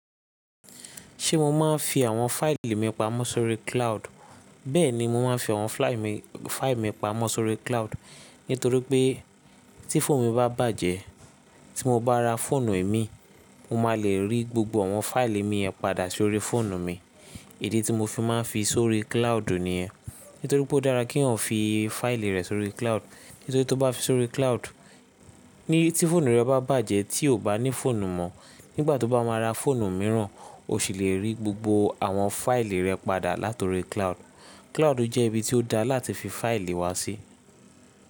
Ṣé mo máa ń fi àwọn fáìlì mi pamọ́ sórí cloud? Bẹ́ẹ̀ni, mo máa ń fi àwọn fáìlì mi pamọ́ sórí cloud nítorí pé tí fóònù mi bá bàjẹ́, tí mo bá ra fóònù è mí, mo máa lè rí gbogbo àwọn fáìlì mi yen padà sórí fóònù mi. Idi tí mo fi máa ń fi sórí cloud niyẹn. Nítorí pé ó dára kí yan fi fáìlì rẹ sórí cloud, nítorí tí o bá fi sórí cloud, ní tí fóònù rẹ bá bàjẹ́ tí o kò bá ní fóònù mọ, nígbà tí o bá máa ra fóònù mìíràn, o sì lè rí gbogbo àwọn fáìlì rẹ padà látọri cloud. Cloud jẹ́ ibi tí ó dára láti fi fáìlì wá sí.